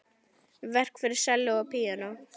Verk fyrir selló og píanó.